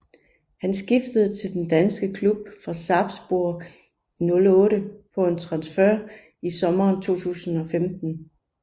Han skiftede til den danske klub fra Sarpsborg 08 på en transfer i sommeren 2015